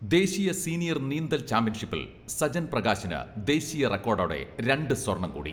ദേശീയ സീനിയർ നീന്തൽ ചാമ്പ്യൻഷിപ്പിൽ സജൻ പ്രകാശിന് ദേശീയ റെക്കോഡോടെ രണ്ട് സ്വർണ്ണം കൂടി